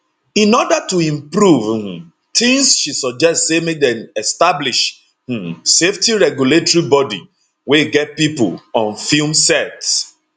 in order to improve um tins she suggest say make dem establish um safety regulatory bodi wey get pipo on film sets